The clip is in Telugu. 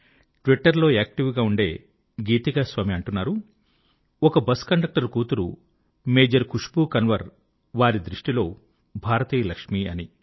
ట్విట్టర్ లో యాక్టివ్ గా ఉండే గీతికాస్వామి అంటున్నారు ఒక బస్ కండక్టర్ కూతురు మేజర్ ఖుష్ బూ కన్వర్ వారి దృష్టిలో భారతీయ లక్ష్మి అని